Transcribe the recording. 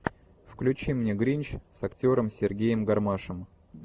включи мне гринч с актером сергеем гармашем